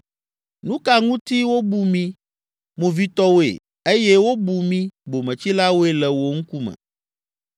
Nu ka ŋuti wobu mí movitɔwoe eye wobu mí bometsilawoe le wò ŋkume?